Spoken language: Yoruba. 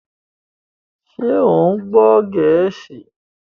Ṣé o gbọ́ Gẹ̀ẹ́sì?